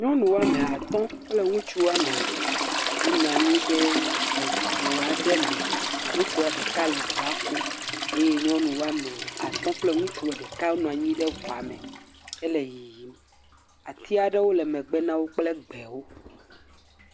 Nyɔnuwo ame atɔ kple ŋutsuwo ame eve wonɔ anyi ɖe ŋu aɖe me. Ŋutsu ɖeka le ŋua kum eye nyɔnuwo ame atɔ kple ŋutsua ɖeka wonɔ anyi ɖe ŋua me hele yiyim. Ati aɖewo le megbe na wo kple gbewo.